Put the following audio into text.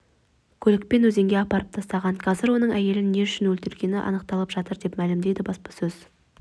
көлікпен өзенге апарып тастаған қазір оның әйелін не үшін өлтіргені анықталып жатыр деп мәлімдеді баспасөз